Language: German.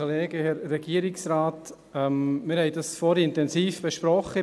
Wir haben das vorhin intensiv besprochen.